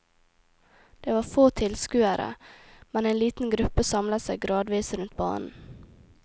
Der var få tilskuere, men en liten gruppe samlet seg gradvis rundt banen.